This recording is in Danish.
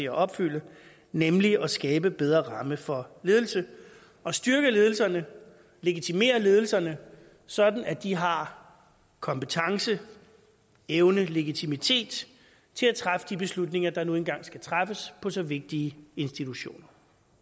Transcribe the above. at opfylde nemlig at skabe bedre rammer for ledelse at styrke ledelserne og legitimere ledelserne sådan at de har kompetencer evner og legitimitet til at træffe de beslutninger der nu engang skal træffes på så vigtige institutioner